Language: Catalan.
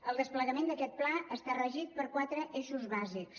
el desplegament d’aquest pla està regit per quatre eixos bàsics